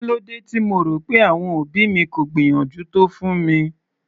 Kílódé tí mo rò pé àwọn òbí mi kò gbìyànjú tó fún mi?